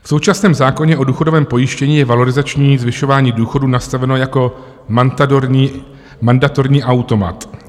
V současném zákoně o důchodovém pojištění je valorizační zvyšování důchodů nastaveno jako mandatorní automat.